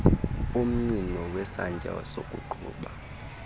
umnyino wesantya sokuqhuba